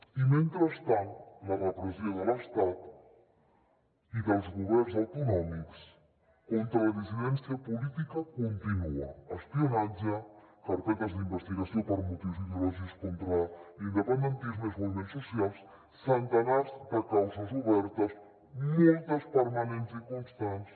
i mentrestant la repressió de l’estat i dels governs autonòmics contra la dissidència política continua espionatge carpetes d’investigació per motius ideològics contra l’independentisme i els moviments socials centenars de causes obertes moltes permanents i constants